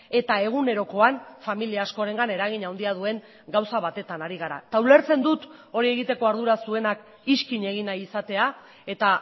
eta egunerokoan familia askorengan eragin handia duen gauza batetan ari gara eta ulertzen dut hori egiteko ardura zuenak iskin egin nahi izatea eta